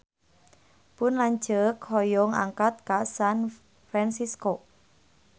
Pun lanceuk hoyong angkat ka San Fransisco